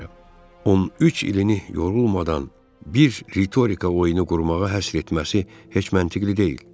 13 ilini yorulmadan bir ritorika oyunu qurmağa həsr etməsi heç məntiqə deyil.